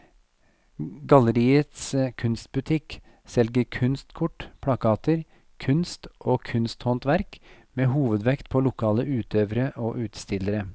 Galleriets kunstbutikk selger kunstkort, plakater, kunst og kunsthåndverk med hovedvekt på lokale utøvere og utstillere.